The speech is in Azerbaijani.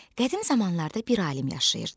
Qədim zamanlarda bir alim yaşayırdı.